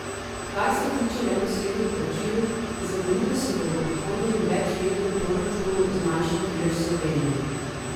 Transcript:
Kar se tiče neposrednih plačil, za koliko se bo v prihodnjem večletnem proračunu zmanjšal delež Slovenije?